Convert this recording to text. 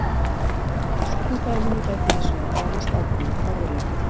Í seinna dæminu gæti hins vegar falist ákveðinn orðaleikur.